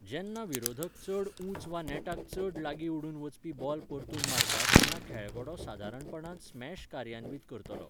जेन्ना विरोधक चड ऊंच वा नेटाक चड लागीं उडून वचपी बॉल परतून मारता तेन्ना खेळगडो सादारणपणान स्मॅश कार्यान्वीत करतलो.